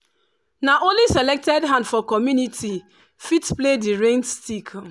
na only selected hand for community fit play di rain stick.